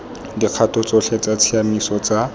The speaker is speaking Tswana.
dikgato tsotlhe tsa tshiamiso tsa